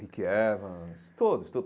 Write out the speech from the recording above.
Rick Evans, todos todos.